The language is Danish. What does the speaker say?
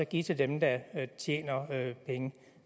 give til dem der tjener penge